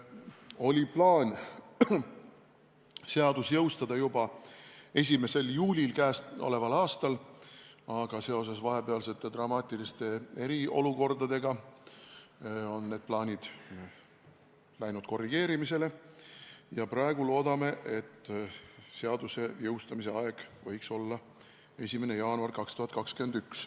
Oli plaan seadus jõustada juba 1. juulil käesoleval aastal, aga seoses vahepealse dramaatilise eriolukorraga on see plaan läinud korrigeerimisele ja praegu loodame, et seaduse jõustamise aeg võiks olla 1. jaanuar 2021.